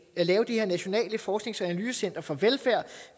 at lave det nationale forsknings og analysecenter for velfærd